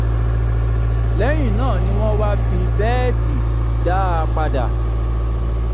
lẹyìn náà ni wọn wá fi bẹẹtì dá a padà